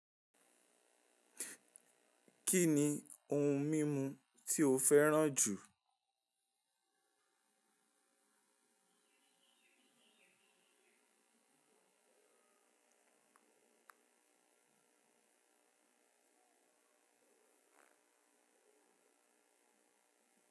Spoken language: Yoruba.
Kí ni ohun mímu tí o fẹràn jù?